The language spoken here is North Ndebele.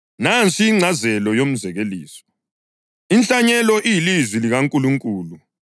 Nansi ingcazelo yomzekeliso: Inhlanyelo iyilizwi likaNkulunkulu.